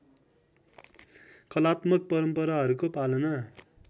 कलात्मक परम्पराहरूको पालन